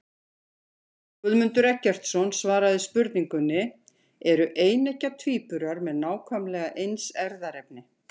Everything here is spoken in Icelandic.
Guðmundur Eggertsson svaraði spurningunni Eru eineggja tvíburar með nákvæmlega eins erfðaefni?